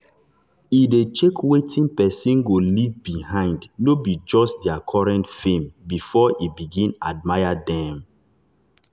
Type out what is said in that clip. e e dey check wetin person go leave behind no be just their current fame before e begin admire dem.